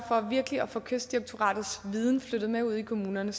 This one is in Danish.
for virkelig at få kystdirektoratets viden flyttet med ud i kommunerne